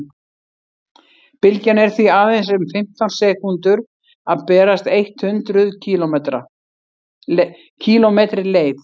bylgjan er því aðeins um fimmtán sekúndur að berast eitt hundruð kílómetri leið